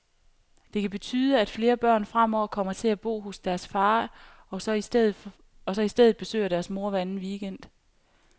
Det kan betyde, at flere børn fremover kommer til at bo hos deres far, og så i stedet besøger deres mor hver anden weekend.